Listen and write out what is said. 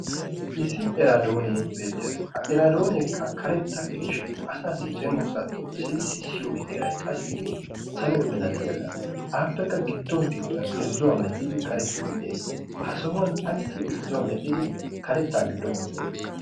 issi iraddoone beettees. ha eradoone karetta gishin asa cengurssay xoqqissidi beettiyo heray salo milatiyaaga. appekka gidduwa gidduwan karettay beettees. a sohuwan ayssi irzzuwa medhdhidi karetta giduwan wottidoona.